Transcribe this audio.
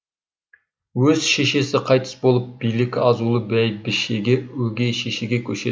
өз шешесі қайтыс болып билік азулы бәйбішеге өгей шешеге көшеді